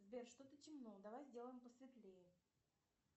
сбер что то темно давай сделаем посветлее